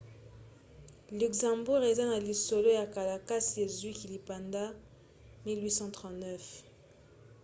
luxembourg eza na lisolo ya kala kasi ezwaki lipanda na 1839